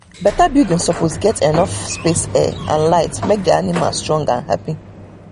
better building suppose get enough space air and light make the animals dey strong and happy